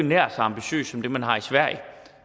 nær så ambitiøst som det man har i sverige